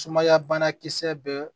Sumaya banakisɛ bɛ